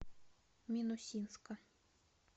минусинска